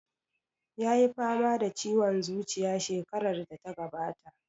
Ya yi fama da ciwon zuciya shekarar da ta gabata.